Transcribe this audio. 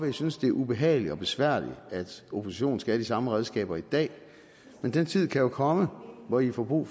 i synes det er ubehageligt og besværligt at oppositionen skal have de samme redskaber i dag men den tid kan jo komme hvor i får brug